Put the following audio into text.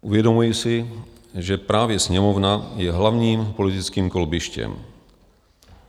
Uvědomuji si, že právě Sněmovna je hlavním politickým kolbištěm.